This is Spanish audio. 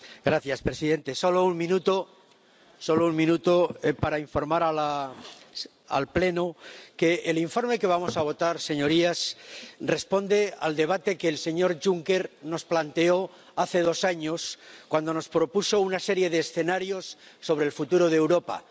Señor presidente, solo un minuto para informar al Pleno de que el informe que vamos a votar, señorías, responde al debate que el señor Juncker nos planteó hace dos años, cuando nos propuso una serie de escenarios sobre el futuro de Europa.